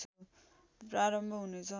प्रारम्भ हुनेछ